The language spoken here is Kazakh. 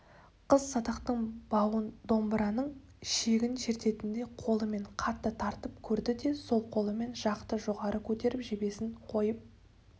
қыз садақтың бауын домбыраның шегін шерткендей қолымен қатты тартып көрді де сол қолымен жақты жоғары көтеріп жебесін қойып